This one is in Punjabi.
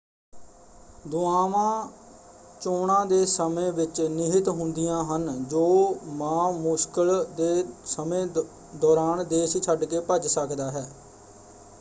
ਦੁਆਵਾਂ ਚੋਣਾ ਦੇ ਸਮੇਂ ਵਿੱਚ ਨਿਹਿਤ ਹੁੰਦੀਆਂ ਹਨ ਜੋ ਮਾ ਮੁਸ਼ਕਿਲ ਦੇ ਸਮੇਂ ਦੌਰਾਨ ਦੇਸ਼ ਛੱਡਕੇ ਭੱਜ ਸਕਦਾ ਹੈ।